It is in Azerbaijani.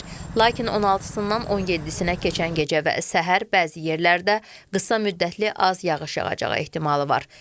Lakin 16-sından 17-sinə keçən gecə və səhər bəzi yerlərdə qısa müddətli az yağış yağacağı ehtimalı var.